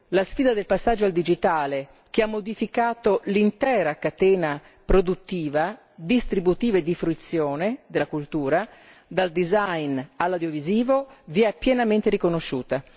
La sfida del passaggio al digitale, che ha modificato l'intera catena produttiva, distributiva e di fruizione della cultura, dal design all'audiovisivo, vi è pienamente riconosciuta.